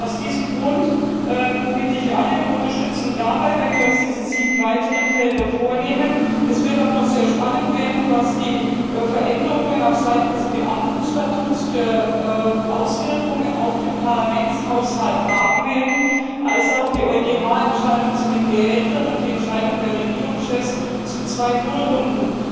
Aus diesem Grund bitte ich alle um Unterstützung dabei, wenn wir uns diese sieben weiteren Felder vornehmen. Es wird auch noch sehr spannend werden, welche Auswirkungen die Veränderungen auf Seiten des Beamtenstatuts auf den Parlamentshaushalt haben werden, wie auch die EuGH Entscheidung zu den Gehältern und die Entscheidung der Regierungschefs zu zwei Nullrunden.